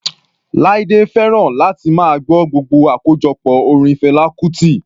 Laide fẹ́ràn láti máa gbọ́ gbogbo àkójọpọ̀ orin Fela Kuti.